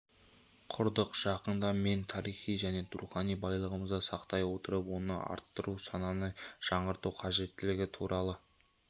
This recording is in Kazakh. құрдық жақында мен тарихи және рухани байлығымызды сақтай отырып оны арттыру сананы жаңғырту қажеттігі туралы